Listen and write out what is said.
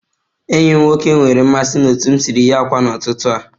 Enyi m nwoke nwere mmasị na otu m siri ghe akwa n'ụtụtụ a